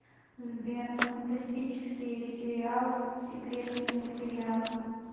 сбер фантастические сериал секретные материалы